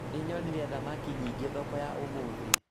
Nĩnyonire thamaki nyingĩ thoko ya ũmũthĩ